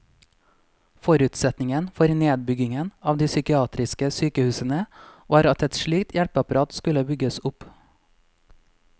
Forutsetningen for nedbyggingen av de psykiatriske sykehusene var at et slikt hjelpeapparat skulle bygges opp.